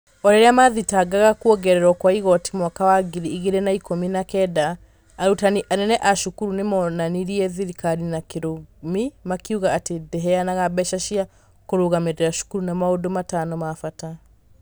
O rĩrĩa maathingataga kwongererwo kwa igoti mwaka-inĩ wa ngiri igĩrĩ na ikũmi na kenda, arutani anene a cukuru nĩ moonanirie thirikari na kĩrumi makiuga atĩ ndĩheanaga mbeca cia kũrũgamĩrĩra cukuru na maũndũ matano ma bata.